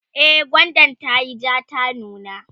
e gwandan tayi jaa ta nuna